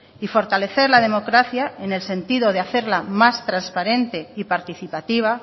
y fortalecer la democracia en el sentido de hacerla más transparente y participativa